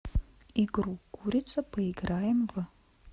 игру курица поиграем в